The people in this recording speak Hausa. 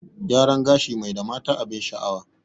Gyaran gashi mai da mata abin sha'awa